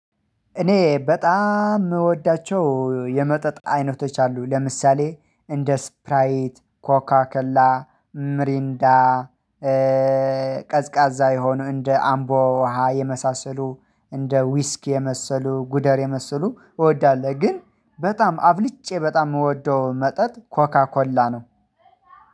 እኔ በጣም የምወዳቸው የመጠጥ አይነቶች አሉ ለምሳሌ እንደ ስፕራይት ኮካ ከላ ምሪንዳ ቀዝቃዛ የሆኑ እንደ አምቦውሃ የመሳሰሉ እንደ ዉስኪ የመሰሉ ጉደር የመሰሉ እወዳለሁ። ግን በጣም አብልጬ በጣም የምወደው መጠጥ ኮካ ኮላ ነው።